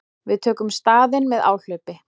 Við tökum staðinn með áhlaupi.